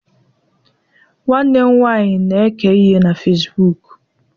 nwanne m nwanyi na-eke ihe na Facibụkụ